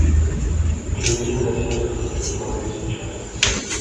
чернильное сердце хочу смотреть сейчас